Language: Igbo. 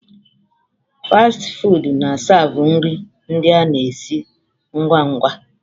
Fasti fụụdụ na a siavu nri ndị a na esi ngwa ngwa.